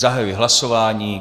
Zahajuji hlasování.